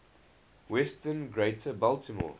western greater baltimore